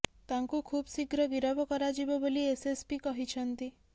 ତାଙ୍କୁ ଖୁବ୍ ଶୀଘ୍ର ଗିରଫ କରାଯିବ ବୋଲି ଏସଏସପି କହିଛନ୍ତି